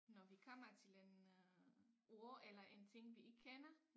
Når vi kommer til en øh ord eller en ting vi ikke kender